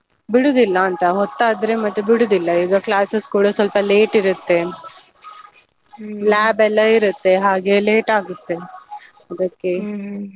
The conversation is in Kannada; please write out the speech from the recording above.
ಬಿಡುದಿಲ್ಲ ಅಂತಾ, ಹೊತ್ತಾದ್ರೆ ಮತ್ತೆ ಬಿಡುದಿಲ್ಲ ಈಗ classes ಕೂಡ ಸ್ವಲ್ಪ late ಇರುತ್ತೆ, lab ಎಲ್ಲ ಇರುತ್ತೆ ಹಾಗೆ late ಆಗುತ್ತೆ ಅದಕ್ಕೆ .